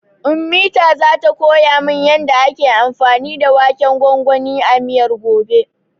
Ummita zata koya min yanda ake anfani da waken gwangwanin a miyar, gobe.